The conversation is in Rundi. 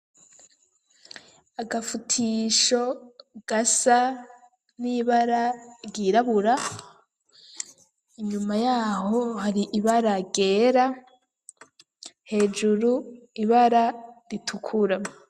Agafutisho, gasa n'ibara ryirabura; inyuma y'aho, hari ibara ryera, hejuru ibara ritukura.